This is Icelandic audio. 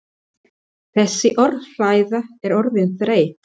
Þessi orðræða er orðin þreytt!